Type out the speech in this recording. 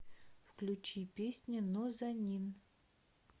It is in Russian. включи песню нозанин